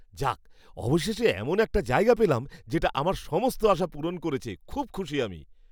যাক, অবশেষে এমন একটা জায়গা পেলাম যেটা আমার সমস্ত আশা পূরণ করেছে, খুব খুশি আমি।